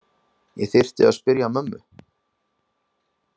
Ég þyrfti að spyrja mömmu.